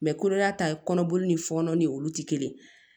kɔnɔya ta ye kɔnɔboli ni fɔnɔ ni olu tɛ kelen ye